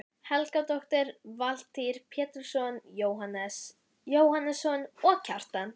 Helgadóttir, Valtýr Pétursson, Jóhannes Jóhannesson og Kjartan